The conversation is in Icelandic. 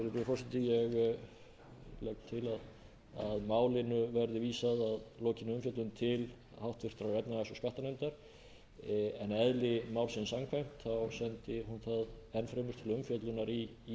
að málinu verði vísað að lokinni umfjöllun til háttvirtrar efnahags og skattanefndar en eðli málsins samkvæmt sendi hún það enn fremur til umfjöllunar í